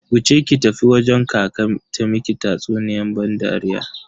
Wuce ki tafi wajen kaka ta miki tatsuniyan ban dariya.